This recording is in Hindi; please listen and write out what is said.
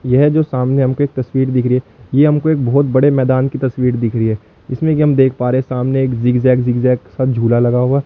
यह जो सामने हम को एक तस्वीर दिख रही है ये हमको एक बहुत बड़े मैदान की तस्वीर दिख रही है इसमें कि हम देख पा रहे सामने एक जिग जैग जिग जैग सा झूला लगा हुआ।